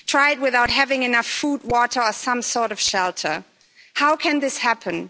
Try it without having enough food, water or some sort of shelter. How can this happen?